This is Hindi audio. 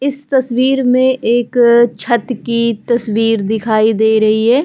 इस तस्वीर में एक छत की तस्वीर दिखाई दे रही है |--